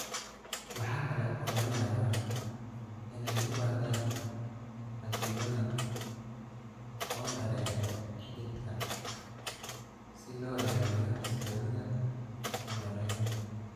Waxa kale oo laga yaabaa inay u baahdaan xaddi badan oo dareere xididka ah si loo ilaaliyo xasilloonida hemodynamic.